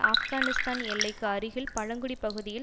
ஆப்கானிஸ்தான எல்லைக்கு அருகில் பழங்குடி பகுதியில்